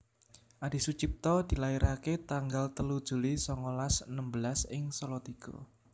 Adisucipto dilairake tanggal telu Juli songolas enem belas ing Salatiga